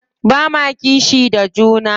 Ba ma kishi da juna.